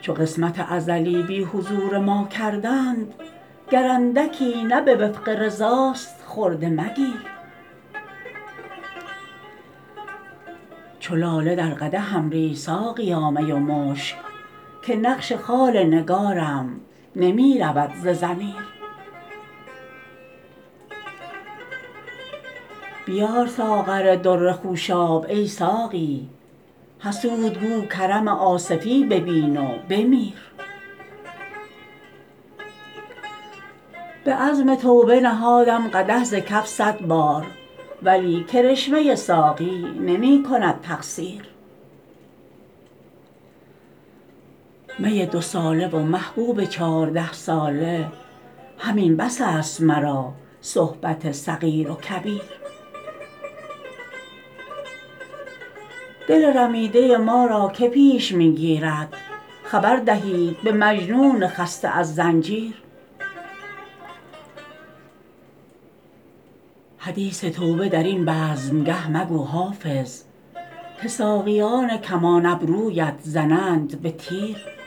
چو قسمت ازلی بی حضور ما کردند گر اندکی نه به وفق رضاست خرده مگیر چو لاله در قدحم ریز ساقیا می و مشک که نقش خال نگارم نمی رود ز ضمیر بیار ساغر در خوشاب ای ساقی حسود گو کرم آصفی ببین و بمیر به عزم توبه نهادم قدح ز کف صد بار ولی کرشمه ساقی نمی کند تقصیر می دوساله و محبوب چارده ساله همین بس است مرا صحبت صغیر و کبیر دل رمیده ما را که پیش می گیرد خبر دهید به مجنون خسته از زنجیر حدیث توبه در این بزمگه مگو حافظ که ساقیان کمان ابرویت زنند به تیر